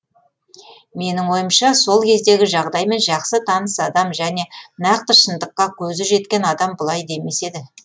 менің ойымша сол кездегі жағдаймен жақсы таныс адам және нақты шындыққа көзі жеткен адам бұлай демес еді